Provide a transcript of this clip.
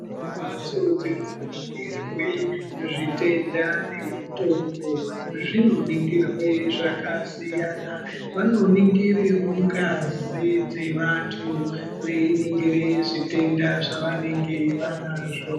Mhatso dzinoningirwe zvitenda nemutombo zvinoningirwe zvakasiyana. Vanonongirewo ngazi dzevantu veiningire zvitenda zvavanenge vanazvo.